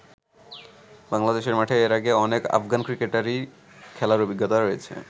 বাংলাদেশের মাঠে এর আগে অনেক আফগান ক্রিকেটারেরই খেলার অভিজ্ঞতা রয়েছে।